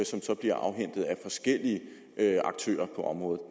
som så bliver afhentet af forskellige aktører på området og